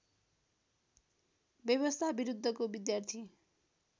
व्यवस्था विरुद्धको विद्यार्थी